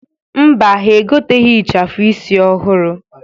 Mba, ha egoteghi ịchafụ isi ọhụrụ.